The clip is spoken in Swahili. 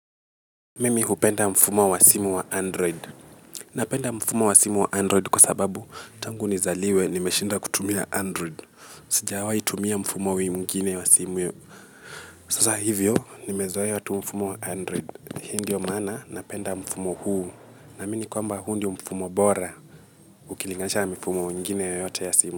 Mimi hupenda mfumo wa simu wa android napenda mfumo wa simu wa android kwa sababu tangu nizaliwe nimeshinda kutumia android. Sijawai tumia mfumo mwingine wa simu yu. Sasa hivyo nimezoe tu mfumo wa android hii ndiyo maana napenda mfumo huu. Naamini kwamba huu ndio mfumo bora ukilingaisha na mifumo nyingine yoyote ya simu.